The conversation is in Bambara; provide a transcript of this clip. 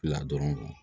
La dɔrɔn